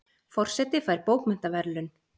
Forseti fær bókmenntaverðlaun